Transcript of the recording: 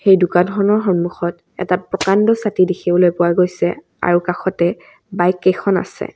সেই দোকানখনৰ সন্মুখত এটা প্ৰকাণ্ড ছাতি দেখিবলৈ পোৱা গৈছে আৰু কাষতে বাইক কেইখন আছে।